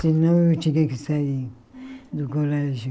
Senão, eu tinha que sair do colégio.